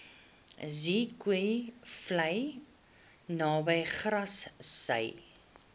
zeekoevlei naby grassy